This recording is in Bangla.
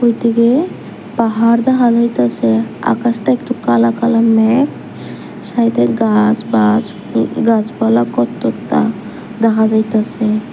এদিকে পাহাড় দেখা যাইতাছে আকাশটা একটু কালা কালা মেঘ সাইডে গাছ বাছ উম গাছপালা কততা দেখা যাইতাসে।